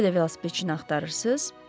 Hələ də velosipedçini axtarırsız?